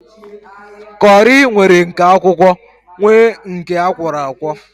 Kọri nwere nke akwụkwọ nwee nke akwọro akwọ